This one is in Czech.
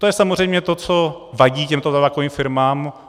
To je samozřejmě to, co vadí těmto tabákovým firmám.